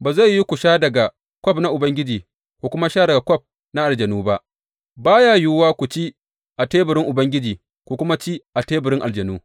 Ba zai yiwu ku sha daga kwaf na Ubangiji ku kuma sha daga kwaf na aljanu ba, ba ya yiwuwa ku ci a teburin Ubangiji, ku kuma ci a teburin aljanu.